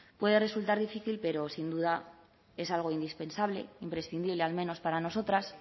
puede resultar difícil pero sin duda es algo indispensable imprescindible al menos para nosotras